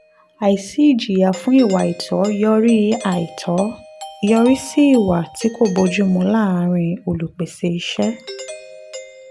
àìsí ìjìyà fún ìwà àìtọ́ yọrí àìtọ́ yọrí sí ìwà tí kò bójú mu láàrín olùpèsè iṣẹ́.